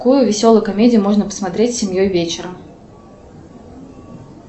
какую веселую комедию можно посмотреть с семьей вечером